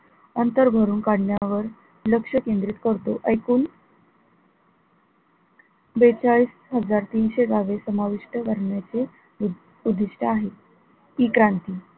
अंतर भरून काढण्यावर लक्ष केंद्रित करतो ऐकून बेचाळीस हजार तीनशे बावीस समाविष्ट करण्याचे उद्दिष्ट आहे, E क्रांती,